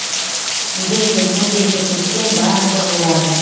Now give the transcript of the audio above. егер де мына жерге көшсең барлығы болады